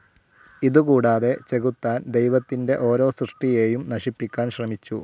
ഇതുകൂടാതെ ചെകുത്താൻ ദൈവത്തിൻ്റെ ഓരോ സൃഷ്ടിയേയും നശിപ്പിക്കാൻ ശ്രമിച്ചു.